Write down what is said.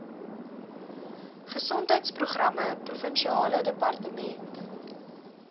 gesondheidsprogramme provinsiale departement